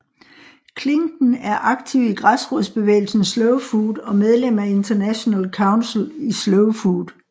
Klinken er aktiv i græsrodsbevægelsen Slow Food og medlem af International Council i Slow Food